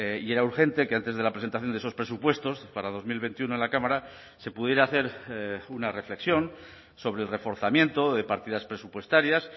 y era urgente que antes de la presentación de esos presupuestos para dos mil veintiuno en la cámara se pudiera hacer una reflexión sobre el reforzamiento de partidas presupuestarias